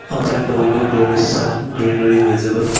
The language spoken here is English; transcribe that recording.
outside the window there is some greenery visible.